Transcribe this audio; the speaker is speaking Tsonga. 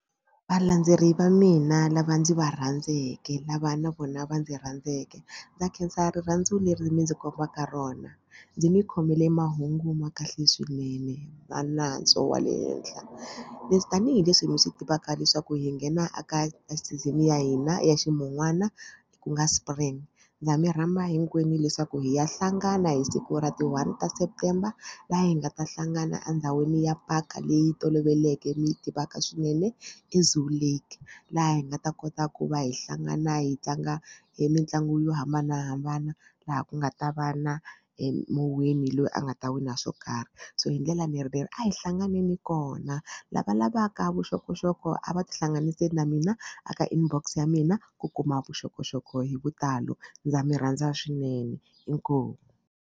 Valandzeleri va mina lava ndzi va rhandzeke lava na vona va ndzi rhandzeke ndza khensa rirhandzu leri mi ndzi kombaka rona. Ndzi mi khomile mahungu ma kahle swinene na nantswo wa le henhla leswi tanihileswi mi swi tivaka leswaku hi nghena aka ka season ya hina ya ximun'wana ku nga spring ndza mi rhamba hinkwenu leswaku hi ya hlangana hi siku ra ti-one ta September laha hi nga ta hlangana endhawini ya park leyi toloveleke mi yi tivaka swinene i Zoo Lake laha hi nga ta kota ku va hi hlangana hi tlanga hi mitlangu yo hambanahambana laha ku nga ta va na muwini loyi a nga ta wina swo karhi so hi ndlela ni ri a hi hlanganeni kona. Lava lavaka vuxokoxoko a va tihlanganisele na mina a ka inbox ya mina ku kuma vuxokoxoko hi vutalo ndza mi rhandza swinene inkomu.